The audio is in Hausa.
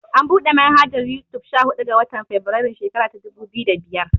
An buɗe manhajar Yutub sha huɗu ga. watan febirairun shekara ta dubu biyu da biyar.